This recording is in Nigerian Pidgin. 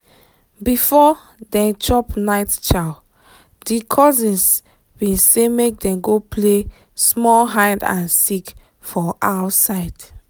before dem chop night chow di cousins been say dem go play small hide and seek for outside